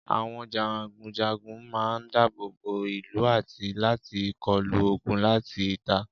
Àwọn jagunjagun man dábòbó ìlú àti láti kọlu ogun láti ìta